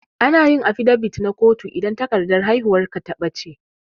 Anayin afidabit na kotu idan takardar haihuwar ka ta ɓata